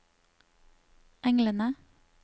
englene